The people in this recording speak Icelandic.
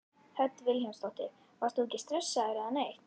Hödd Vilhjálmsdóttir: Varst þú ekkert stressaður eða neitt?